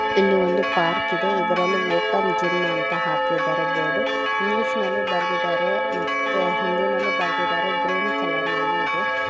ಇಲ್ಲಿ ಒಂದು ಪಾರ್ಕ್ ಇದೆ ಇದರಲ್ಲಿ ಓಪನ್ ಜಿಮ್ ಅಂತ ಹಾಕಿದರೆ ಬೋರ್ಡ್ ಇಂಗ್ಲೀಶ್ ನಲ್ಲಿ ಬರೆದಿದರೆ ಮತ್ತೆ ಹಿಂದಿನಲ್ಲಿ ಬರೆದಿದರೆ ಗ್ರೀನ್ ಕಲರ್ ನಲ್ಲಿ ಇದೆ.